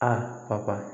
A papa